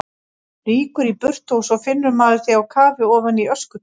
Rýkur í burtu og svo finnur maður þig á kafi ofan í öskutunnu!